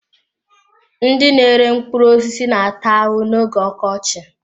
Ndị na-ere mkpụrụ osisi na-ata ahụhụ n'oge ọkọchị.